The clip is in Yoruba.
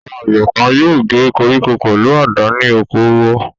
Àwọn àgbẹ̀ kan yóò gé koríko pẹ̀lú àdá ní oko wọ.